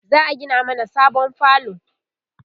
za'a Gina mana sabon falo